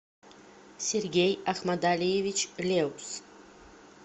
сергей ахмадалиевич леус